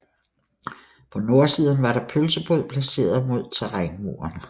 På nordsiden var der pølsebod placeret mod terrænmuren